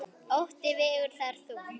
Ótti vegur þar þungt.